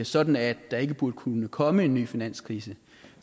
sådan at der ikke burde kunne komme en ny finanskrise